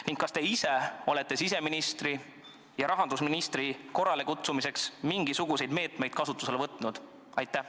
Ning kas te olete siseministri ja rahandusministri korralekutsumiseks mingisuguseid meetmeid kasutusele võtnud?